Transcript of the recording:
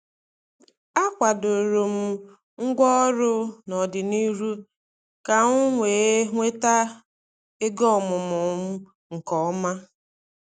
A kwadoro m ngwaọrụ n'ọdịnihu ka m wee nweta oge ọmụmụ m nke ọma.